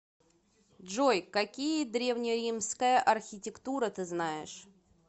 джой какие древнеримская архитектура ты знаешь